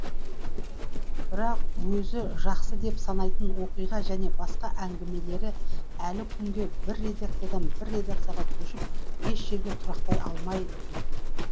бірақ өзі жақсы деп санайтын оқиға және басқа әңгімелері әлі күнге бір редакциядан бір редакцияға көшіп еш жерге тұрақтай алмай жүр